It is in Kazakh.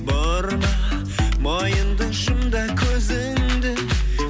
бұрма мойынды жұм да көзіңді